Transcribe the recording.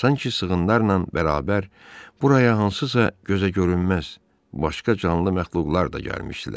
Sanki sığınlarla bərabər buraya hansısa gözəgörünməz başqa canlı məxluqlar da gəlmişdilər.